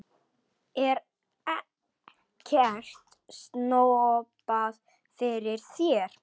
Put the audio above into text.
Er ekkert snobbað fyrir þér?